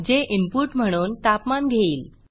जे इनपुट म्हणून तापमान घेईल